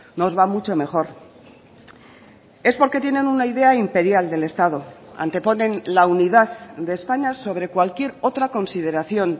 nos va mucho mejor es porque tienen una idea imperial del estado anteponen la unidad de españa sobre cualquier otra consideración